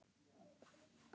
Ég var bara að hugsa.